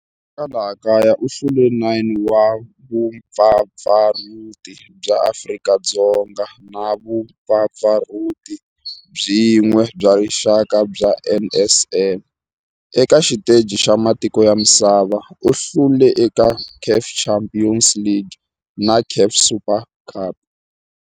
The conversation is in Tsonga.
Eka laha kaya u hlule 9 wa vumpfampfarhuti bya Afrika-Dzonga na vumpfampfarhuti byin'we bya rixaka bya NSL. Eka xiteji xa matiko ya misava, u hlule eka CAF Champions League na CAF Super Cup.